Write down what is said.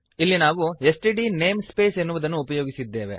ಇಲ್ಲಿ ನಾವು STD namespace ಎನ್ನುವುದನ್ನು ಉಪಯೋಗಿಸಿದ್ದೇವೆ